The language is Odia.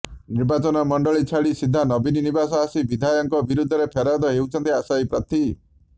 ନିର୍ବାଚନ ମଣ୍ଡଳୀ ଛାଡ଼ି ସିଧା ନବୀନ ନିବାସ ଆସି ବିଧାୟକଙ୍କ ବିରୋଧରେ ଫେରାଦ ହେଉଛନ୍ତି ଆଶାୟୀ ପ୍ରାର୍ଥୀ